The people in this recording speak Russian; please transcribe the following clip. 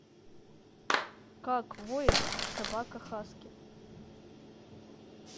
как воет собака хаски